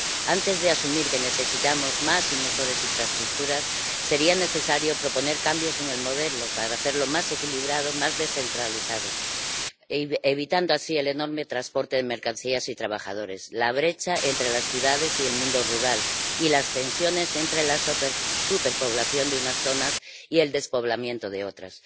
Antes de asumir que necesitamos más y mejores infraestructuras sería necesario proponer cambios en el modelo para hacerlo más equilibrado, más descentralizado, evitando así el enorme transporte de mercancías y trabajadores, la brecha entre las ciudades y el mundo rural y las tensiones entre la superpoblación de unas zonas y el despoblamiento de otras.